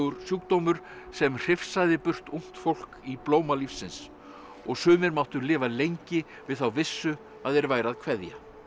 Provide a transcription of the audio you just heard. sjúkdómur sem hrifsaði burt ungt fólk í blóma lífsins og sumir máttu lifa lengi við þá vissu að þeir væru að kveðja